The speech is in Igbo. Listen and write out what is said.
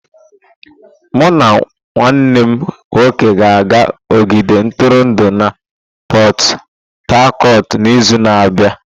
Mụ na nwanne m nwoke ga-aga ogige ntụrụndụ na Pot-Tarcotu n'izu na-abịa.